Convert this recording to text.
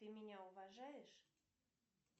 ты меня уважаешь